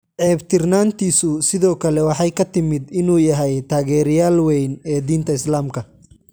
Ceebtirnaantiisu sidoo kale waxay ka timid inuu yahay taageerayaal weyn ee diinta Islaamka.